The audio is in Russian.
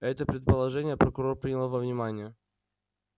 это предположение прокурор принял во внимание